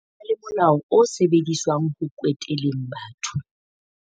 ho na le molao o sebediswang ho kweteleng batho